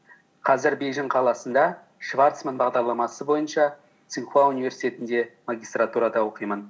қазір бейжің қаласында шварцман бағдарламасы бойынша цинхуа университетінде магистратурада оқимын